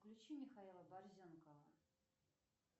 включи михаила борзенкова